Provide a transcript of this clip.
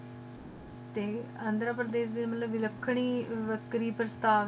T ਅੰਦਰ ਪ੍ਰਦੇਸ਼ ਦੀ ਵਖਰੀ ਵਖਰੀ ਪਾਸ਼੍ਦਾਦ ਆਈ ਹੋਈ ਕ ਏਥੇ ਡੀ